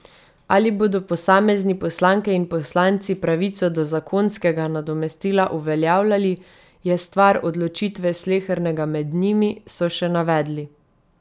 Ali bodo posamezni poslanke in poslanci pravico do zakonskega nadomestila uveljavljali, je stvar odločitve slehernega med njimi, so še navedli.